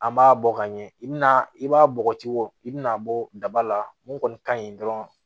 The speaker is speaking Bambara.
An b'a bɔ ka ɲɛ i bina i b'a bɔgɔti bɔ i bina bɔ daba la mun kɔni kaɲi dɔrɔn